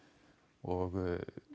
og